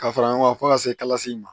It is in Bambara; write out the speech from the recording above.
Ka fara ɲɔgɔn kan fo ka se kalasi ma